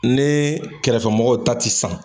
Nii kɛrɛfɛmɔgɔw ta ti san